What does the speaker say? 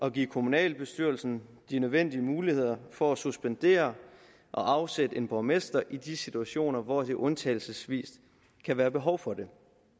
at give kommunalbestyrelsen de nødvendige muligheder for at suspendere og afsætte en borgmester i de situationer hvor der undtagelsesvis kan være behov for det